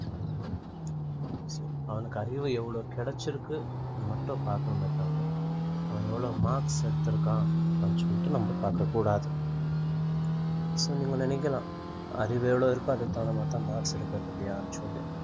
so அவனுக்கு அறிவு எவ்வளவு கிடைச்சிருக்குன்னு மட்டும் பார்க்கணுமே தவிர அவன் எவ்வளவு marks எடுத்திருக்கான் அப்படின்னு சொல்லிட்டு நம்ம பார்க்கக் கூடாது so நீங்க நினைக்கலாம் அறிவு எவ்வளவு இருக்கோ அதுக்கு தகுந்த மாதிரிதான் marks எடுக்கறது இல்லையான்னு சொல்லு